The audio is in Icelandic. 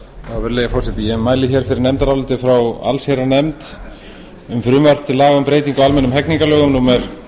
virðulegi forseti ég mæli fyrir nefndaráliti frá allsherjarnefnd um frumvarp til laga um breytingu á almennum hegningarlögum númer